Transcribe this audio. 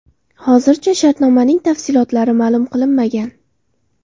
Hozircha shartnomaning tafsilotlari ma’lum qilinmagan.